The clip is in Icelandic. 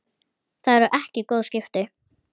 Það eru ekki góð skipti.